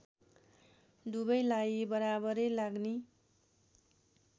दुबैलाई बराबरै लाग्ने